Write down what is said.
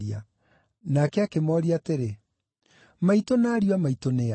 Nake akĩmooria atĩrĩ, “Maitũ na ariũ a maitũ nĩ a?”